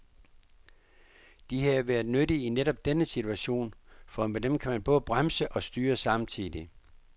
De havde været nyttige i netop denne situation, for med dem kan man både bremse og styre samtidig.